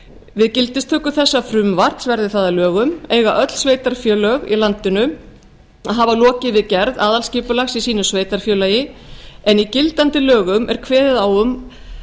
við gildistöku þessa frumvarps verði það að lögum eiga öll sveitarfélög í landinu að hafa lokið við gerð aðalskipulags í sínu sveitarfélagi en í gildandi lögum er kveðið á um